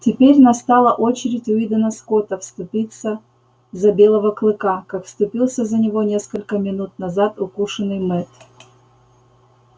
теперь настала очередь уидона скотта вступиться за белого клыка как вступился за него несколько минут назад укушенный мэтт